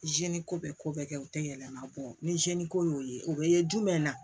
ko bɛ ko bɛɛ kɛ o tɛ yɛlɛma bɔ ni ko y'o ye o bɛ ye jumɛn na